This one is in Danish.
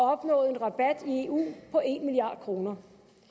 har opnået en rabat i eu på en milliard kroner